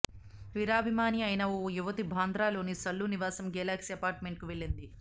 వీరాభిమాని అయిన ఓ యువతి బాంద్రాలోని సల్లూ నివాసం గెలాక్సీ అపార్ట్మెంట్కు వెళ్లింది